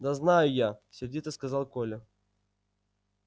да знаю я сердито сказал коля